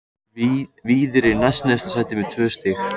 Víðir er í næst neðsta sæti með tvö stig.